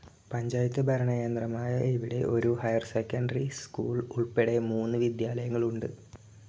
പഞ്ചായത്തു ഭരണകേന്ദ്രമായ ഇവിടെ ഒരു ഹൈർ സെക്കൻഡറി സ്കൂൾ ഉൾപ്പെടെ മൂന്നു വിദ്യാലയങ്ങൾ ഉണ്ട്.